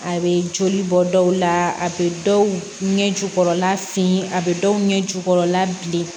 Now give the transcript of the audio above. A bɛ joli bɔ dɔw la a bɛ dɔw ɲɛ jukɔrɔla fin a bɛ dɔw ɲɛ jukɔrɔla bilen